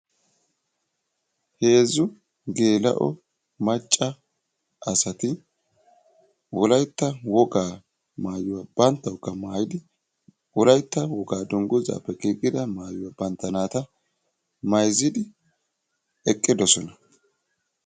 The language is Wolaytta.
heezu geela"o macca naati wolaytta woga maayuwa banttayokka maayidi bantta naatakka mayzidi eqidossona.